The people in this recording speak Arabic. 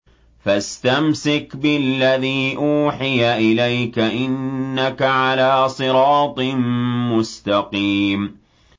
فَاسْتَمْسِكْ بِالَّذِي أُوحِيَ إِلَيْكَ ۖ إِنَّكَ عَلَىٰ صِرَاطٍ مُّسْتَقِيمٍ